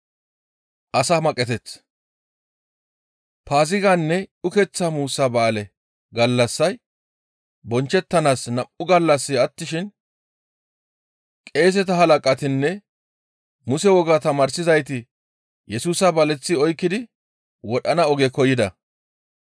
Paaziganne ukeththa muussa ba7aale gallassay bonchchettanaas nam7u gallassi attishin qeeseta halaqatinne Muse wogaa tamaarsizayti Yesusa baleththi oykkidi wodhana oge koyida.